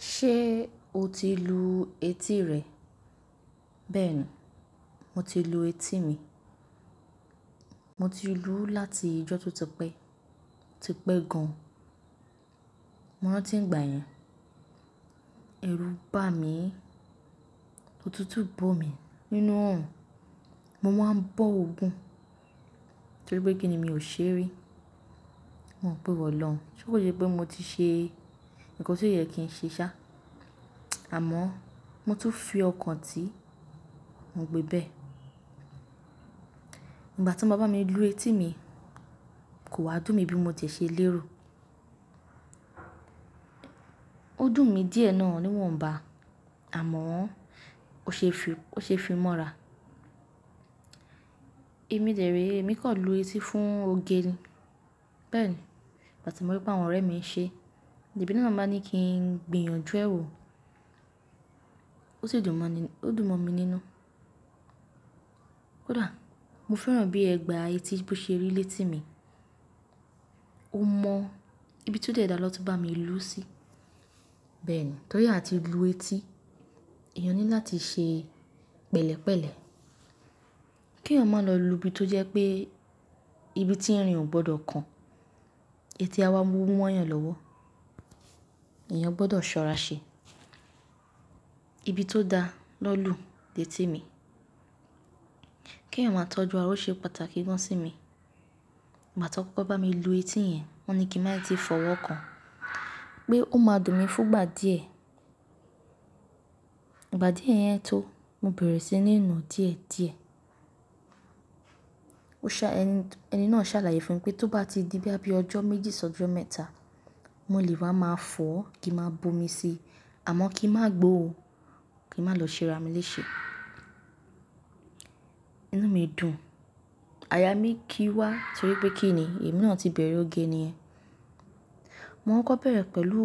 Ṣé o ti lu etí rẹ? Bẹ́ẹ̀ni, mo ti lu etí mi. Mo ti luu láti ọjọ́ tó ti pẹ́, tí pẹ́ gan an. Mo rántí ìgbà yẹn, ẹ̀rù bà mí, òtútù bò mí nínú orun, mo wà ń bọ̀ òògùn torí pé kí ni mi ò ṣe rí. Mo ń pè wọ̀ ọlọ́run, ṣé kò sẹ́ pé mo ti ṣe nǹkan tó yẹ kí n ṣe sá, àmọ́ mo tún fí ọkàn ti mo gbé bẹ́ẹ̀. Nígbà tí wọ́n má bá mi lu etí mi, kò wá dùn mi bí mo ti ṣe lérò. Ó dùn mi díẹ̀ náà níwọ̀nba, àmọ́ ó ṣe fi mọ́ra. Èmi dèré, èmi kò lu etí fún oge ni. Bẹ́ẹ̀ni, ìgbà tí mo rí pé àwọn ọ̀rẹ́ mi ń ṣe, lẹ̀ mí nà bá ní kí n gbìyànjú ẹ́ wò, ó sì dùn mọ́ mi nínú. Kódà mo fẹ́ràn bí ẹ̀gbà etí bó ṣe rí létí mi, ó mọ ibi tó dẹ̀da lọ ti bá mi lú sí. Bẹ́ẹ̀ni, torí àti lu etí, èèyàn ní láti ṣe pẹ̀lẹ́pẹ̀lẹ́, kí èèyàn má lọ lu ibi tó jẹ́ pé ibi tí irín ò gbọdọ̀ kan, etí a wá mú wọ́n yán lọ́wọ́, èèyàn gbọdọ̀ sọ́ra ṣe. Ibi tó da lọ́lù létí mi, kí èèyàn má tọ́jú ara o ṣe pàtàkì gan an sí mi. Ìgbà tí won kokọ́ bá mi lu etí yẹn, wọ́n ní kí n má ti fọwọ́ kan pé ó máa dùn mi fún ìgbà díẹ̀. Ìgbà díẹ̀ yẹn tó, mo bẹ̀rẹ̀ sí ní nu díẹ̀ díẹ̀. Ẹni náà ṣàlàyé fún mi pé tó bá ti di boya bí ọjọ́ méjì ṣọ́jo mẹ́ta, mo lè wá máa fọ̀ kí a máa bu omi sí, àmọ́ kí n má gbo o, kí n má lọ ṣe ra mi léṣe. Inú mi dùn. Aya mi kí wá torí pé kí ni èmi náà ti bẹ̀rẹ̀ oge ni yen. Mo kokọ́ bẹ̀rẹ̀ pẹ̀lú